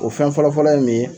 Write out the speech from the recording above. O fɛn fɔlɔfɔlɔ ye mun ye ?